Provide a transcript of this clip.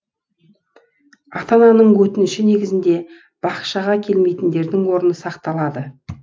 ата ананың өтініші негізінде бақшаға келмейтіндердің орны сақталады